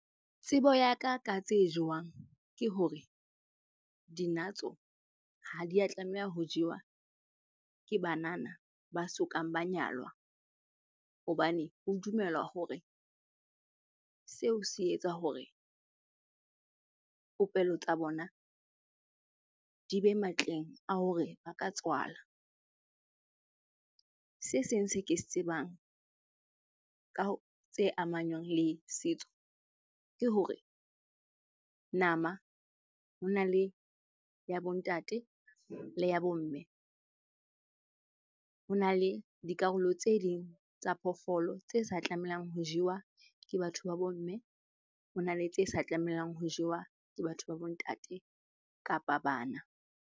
Tsebo ya ka ka tse jewang ke hore, dinatso ha di a tlameha ho jewa ke banana ba sokang ba nyalwa, hobane ho dumelwa hore seo se etsa hore popelo tsa bona di be matleng a hore ba ka tswala. Se seng se ke se tsebang tse amanywang le setso ke hore nama hona le ya bo ntate le ya bo mme. Hona le dikarolo tse ding tsa phoofolo tse sa tlamehang ho jewa ke batho ba bo mme, hona le tse sa tlamehang ho jewa ke batho ba bo ntate kapa bana.